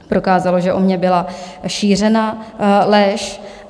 Prokázalo, že o mně byla šířena lež.